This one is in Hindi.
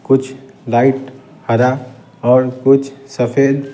कुछ लाइट हरा और कुछ सफेद --